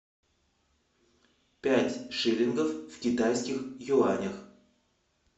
пять шиллингов в китайских юанях